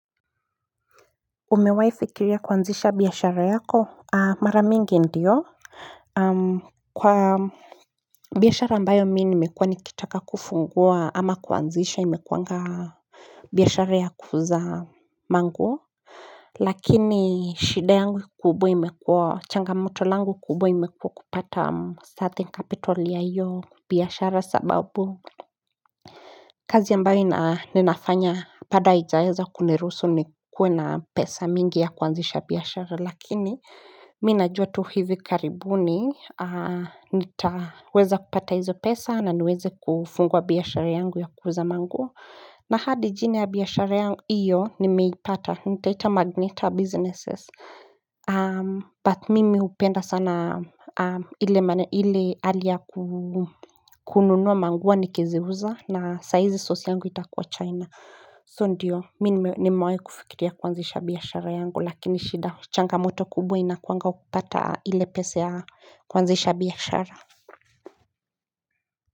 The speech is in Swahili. Umewahi fikiria kuanzisha biashara yako mara mingi ndio Kwa biashara ambayo mimi nimekuwa nikitaka kufungua ama kuanzisha imekuanga biashara ya kuuza mango Lakini shida yangu kubwa imekuwa changamoto langu kubwa imekuwa kupata starting capital ya hiyo biashara sababu kazi ambayo ninafanya bado haijaeza kuniruhusu nikue na pesa mingi ya kuanzisha biashara lakini mimi najua tu hivi karibuni nitaweza kupata hizo pesa na niweze kufungua biashara yangu ya kuuza manguo na hadi jina ya biashara yangu iyo nimeipata nitaita Magneta Businesses But mimi hupenda sana ile hali ya kununua manguo nikiziuza na saa hizi source yangu itakuwa china So ndiyo mimi nimewahi kufikiria kuanzisha biashara yangu lakini shida changamoto kubwa inakuanga kupata ile pesa ya kuanzisha biashara.